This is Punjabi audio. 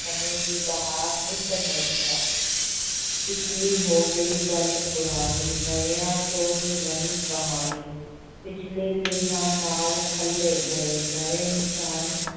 ਸਮੇਂ ਦੀ ਬਹਾਰ ਨਿੱਤ ਨਵੀਂ ਹੈ ਪਿਛਲੀ ਹੋ ਗਈ ਗੱਲ ਪੁਰਾਣੀ, ਨਵਿਆਂ ਛੋਹੀ ਨਵੀਂ ਕਹਾਣੀ, ਪਿਛਲੇ ਲੀਹਾਂ ਨਾਲ ਖਲੇ ਗਏ, ਨਵੇਂ ਨਿਸ਼ਾਨ